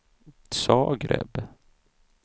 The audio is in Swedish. Zagreb